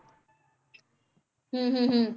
ਹਮ ਹਮ ਹਮ